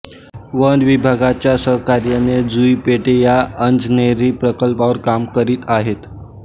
one विभागाच्या सहकार्याने जुई पेठे या अंजनेरी प्रकल्पावर काम करीत आहेत